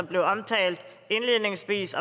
blev omtalt indledningsvis